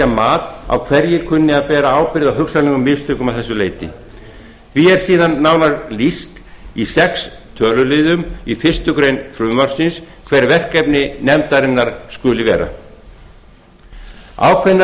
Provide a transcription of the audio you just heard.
mat á hverjir kunni að bera ábyrgð á hugsanlegum mistökum að þessu leyti því er síðan nánar lýst í sex töluliðum í fyrstu grein frumvarpsins hver verkefni nefndarinnar skuli vera ákveðnar